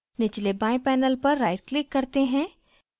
निचले बाएं panel पर right click करते हैं